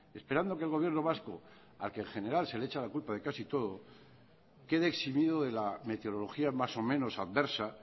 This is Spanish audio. esperando a que el gobierno vasco que en general se le echa la culpa de casi todo quede eximido de la meteorología más o menos adversa